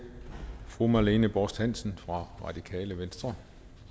fru marlene borst hansen fra radikale venstre